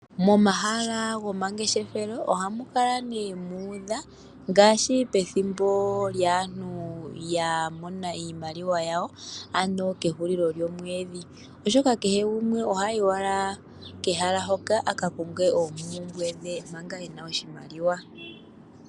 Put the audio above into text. Momahala gomangeshefelo ohamu kala nee mu udha ngaashi pethimbo lyaantu ya mona iimaliwa yawo, ano kehulilo lyomwedhi, oshoka kehe gumwe oha yi owala kehala hoka, a ka konge oompumbwe dhe manga e na oshimaliwa.